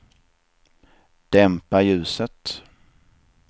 dämpa ljuset